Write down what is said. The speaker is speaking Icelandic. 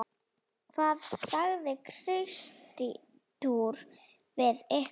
Hvað sagði Kristur við ykkur?